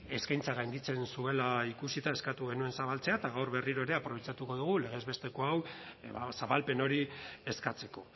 eskaintza gainditzen zuela ikusita eskatu genuen zabaltzea eta gaur berriro ere aprobetxatuko dugu legez besteko hau ba zabalpen hori eskatzeko